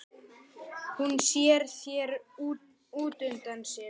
Hún sér þær útundan sér.